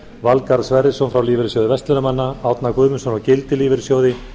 valgarð sverrisson frá lífeyrissjóði verslunarmanna árna guðmundsson frá gildi lífeyrissjóði